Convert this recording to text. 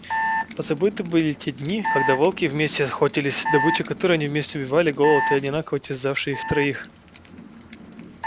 позабыты были те дни когда волки вместе охотились добыча которую они вместе убивали голод одинаково терзавший их троих